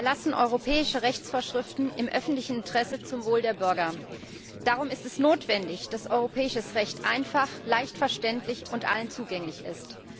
Wir erlassen europäische Rechtsvorschriften im öffentlichen Interesse zum Wohl der Bürger. Darum ist es notwendig, dass europäisches Recht einfach, leicht verständlich und allen zugänglich ist.